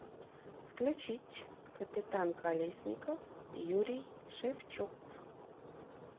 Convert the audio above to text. включить капитан колесников юрий шевчук